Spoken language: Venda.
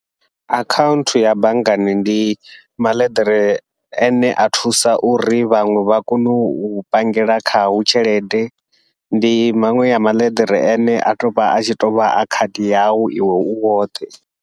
Akhanthu ya banngani ndi maḽeḓere ane a thusa uri vhaṅwe vha kone u pangela khao tshelede, ndi maṅwe ya maḽeḓere ane a tou vha a tshi tovha a khadi yau iwe u woṱhe.